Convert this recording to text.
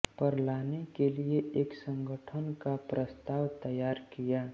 पर लाने के लिये एक संगठन का प्रस्ताव तैयार किया